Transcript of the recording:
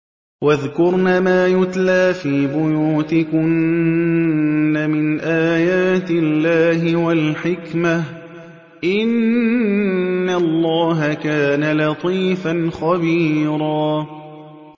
وَاذْكُرْنَ مَا يُتْلَىٰ فِي بُيُوتِكُنَّ مِنْ آيَاتِ اللَّهِ وَالْحِكْمَةِ ۚ إِنَّ اللَّهَ كَانَ لَطِيفًا خَبِيرًا